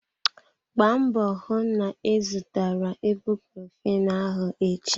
Gbaa mbọ hụ na ị zụtara ibucrofen ahụ echi!